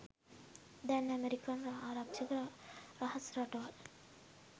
දැන් ඇමෙරිකන් ආරක්ෂක රහස් රටවල්